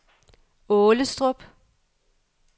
Aalestrup